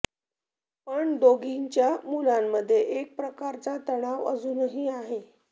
पण दोघींच्या मुलांमध्ये एक प्रकारचा तणाव अजूनही आहे